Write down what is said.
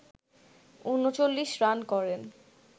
৩৯ run করেন